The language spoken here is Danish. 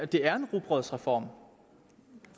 det er en rugbrødsreform